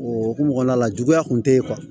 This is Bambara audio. O hukumu kɔnɔna la juguya kun tɛ ye